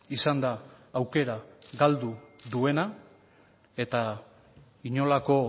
izan da aukera galdu duena eta inolako